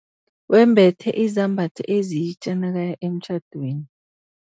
Wembethe izambatho ezitja nakaya emtjhadweni.